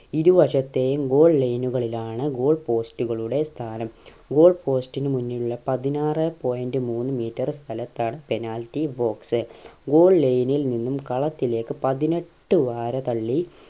ഇരുവശത്തേയും goal line നുകളിലാണ് goal post കളുടെ സ്ഥാനം goal post ന് മുന്നിലുള്ള പതിനാറ് point മൂന്ന് meter സ്ഥലത്താണ് penalty boxgoal line നിൽ നിന്നും കളത്തിലേക്ക് പതിനെട്ട് വാര തള്ളി